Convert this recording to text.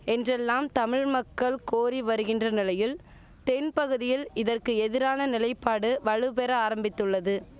என்றெல்லாம் தமிழ் மக்கள் கோரி வரிகின்ற நிலையில் தென்பகுதியில் இதற்கு எதிரான நிலைப்பாடு வலுபெற ஆரம்பித்துள்ளது